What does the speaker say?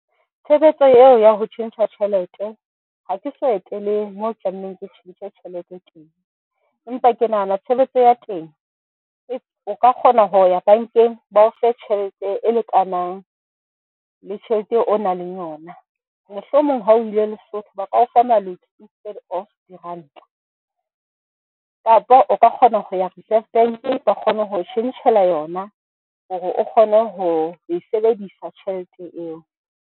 Tshebetso eo ya ho tjhentjha tjhelete, ha ke so etele moo tlamehileng ke tjhentjhe tjhelete teng, empa ke nahana tshebetso ya teng, o ka kgona ho ya bank-eng ba o fe tjhelete e lekanang le tjhelete eo o nang le yona. Mohlomong ha o ile Lesotho ba ka o fa maluti instead of diranta, kapo o ka kgona ho ya Reserve Bank-e ba kgone ho tjhentjhela yona hore o kgone ho e sebedisa tjhelete eo.